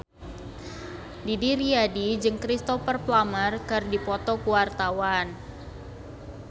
Didi Riyadi jeung Cristhoper Plumer keur dipoto ku wartawan